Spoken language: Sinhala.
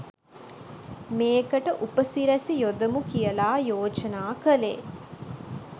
මේකට උපසිරැසි යොදමු කියල යෝජනා කලේ